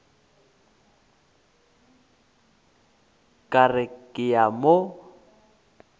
ka re ke a mo